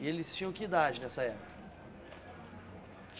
E eles tinham que idade nessa época?